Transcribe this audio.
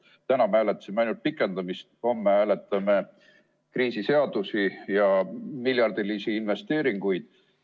Täna me hääletasime ainult pikendamist, aga homme hääletame kriisiseadusi ja miljardilisi investeeringuid.